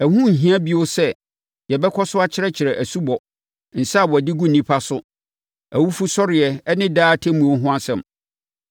Ɛho nhia bio nso sɛ yɛbɛkɔ so akyerɛkyerɛ asubɔ, nsa a wɔde gu nnipa so, awufosɔreɛ ne daa atemmuo ho nsɛm.